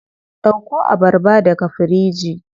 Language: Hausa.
Dauko abarba daga firiji.